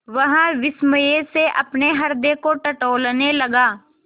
वह विस्मय से अपने हृदय को टटोलने लगा